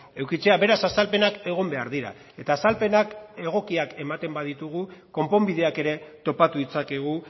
edukitzea beraz azalpenak egon behar dira eta azalpenak egokiak ematen baditugu konponbideak ere topatu ditzakegu